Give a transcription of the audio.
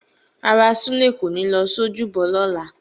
Rárá, Sule kò ní lọ sí ojúbọ lọ́la.